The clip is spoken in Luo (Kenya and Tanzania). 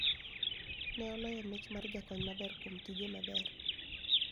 Ne oloyo mich mar jakony maber kuom tije maber